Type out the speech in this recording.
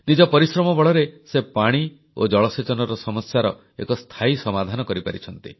ନିଜ ପରିଶ୍ରମ ବଳରେ ସେ ପାଣି ଓ ଜଳସେଚନର ସମସ୍ୟାର ଏକ ସ୍ଥାୟୀ ସମାଧାନ କରିପାରିଛନ୍ତି